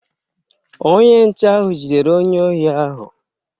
Onye nche ahụ jidere onye ohi ahụ